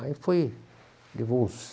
Aí foi, levou uns